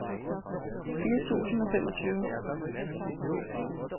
fire tusind og femogtyve